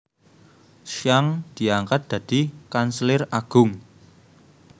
Zhang diangkat dadi kanselir agung